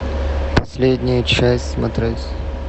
последняя часть смотреть